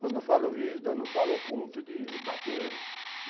Quando eu falo rígida, não falo ao ponto de bater.